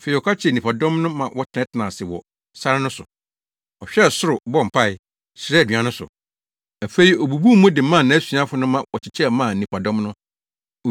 Afei ɔka kyerɛɛ nnipadɔm no ma wɔtenatenaa ase wɔ sare no so. Ɔhwɛɛ soro bɔɔ mpae, hyiraa aduan no so. Afei obubuu mu de maa nʼasuafo no ma wɔkyekyɛ maa nnipadɔm no.